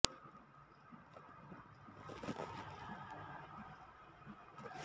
ನಾನು ನೀವು ಎಸ್ಟೇಡೋಸ್ ಯೂನಿಡೋಸ್ ಮತ್ತು ಕೌನ್ಸಿಡೋಸ್ ಮತ್ತು ಇನ್ಸ್ಟಾಸ್ ಯೂನಿಡೋಸ್ ಮತ್ತು ಇನ್ಸ್ಟಿಟ್ಯೂಟ್ ಪೊಸಿಬಲ್ ಆಬ್ಜೆರ್ನೊರೊಸ್ ಎಟ್ ಎಕ್ಸ್ಟ್ರಾಜೆರ್